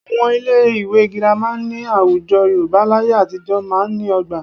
Àwọn ilé ìwé Girama ní àwùjọ Yorùbá láyé àtijọ́ máa ń ní ọgbà